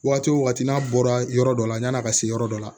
Waati wo waati n'a bɔra yɔrɔ dɔ la yan'a ka se yɔrɔ dɔ la